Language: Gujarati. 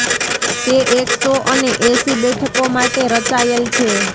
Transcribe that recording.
તે એક સો અને એંસી બેઠકો માટે રચાયેલ છે